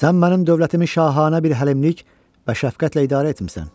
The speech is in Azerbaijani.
Sən mənim dövlətimi şahanə bir həlimlik və şəfqətlə idarə etmisən.